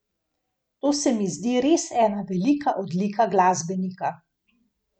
To se mi zdi res ena velika odlika glasbenika.